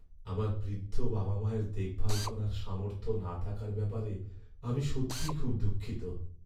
আমার বৃদ্ধ বাবা মায়ের দেখভাল করার সামর্থ্য না থাকার ব্যাপারে আমি সত্যিই খুব দুঃখিত।